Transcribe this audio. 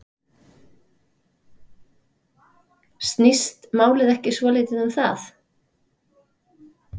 Snýst málið ekki svolítið um það?